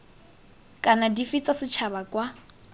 kana dife tsa setšhaba kwa